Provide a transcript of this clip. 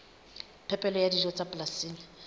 phepelo ya dijo tsa polasing